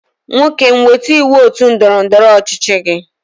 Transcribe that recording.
Nwokem weta iwu otu ndọrọ ndọrọ ọchịchị gi.